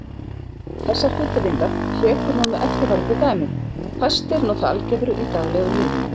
Þessar fullyrðingar hrekur hún með eftirfarandi dæmum: Fæstir nota algebru í daglegu lífi.